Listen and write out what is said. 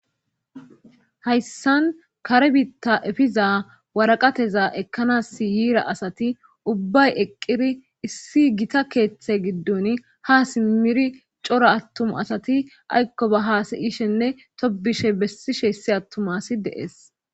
Hayssan kare biitta efiza waraqateza ekkanasyiira asati ubbay eqqiri issi gita keeththe giddun ha simmiri coro attuma asati aykko ba haasayishenne tobishe bessishe essi attumasi deees.